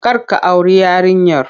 Kar ka auri yarinyar!